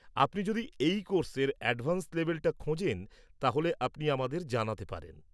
আপনি যদি এই কোর্স-এর অ্যাডভান্স লেভেলটা খোঁজেন, তাহলে আপনি আমাদের জানাতে পারেন।